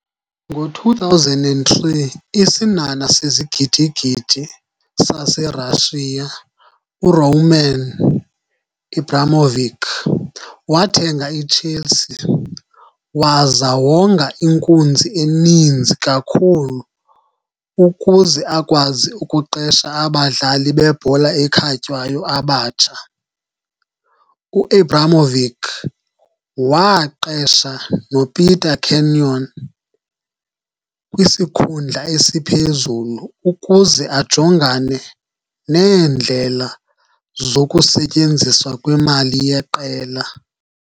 Ngo-2003 isinhanha sezigidi-gidi saserussia, uRoman Abramovich, wathenga iChelsea waza wonga inkunzi eninzi kakhulu ukuze akwazi ukuqesha abadlali bebhola ekhatywayo abatsha. U-Abramovich waaqesha noPeter Kenyon kwisikhundla esiphezulu ukuze ajongane neendlela zokusetyenziswa kwemali yeqela.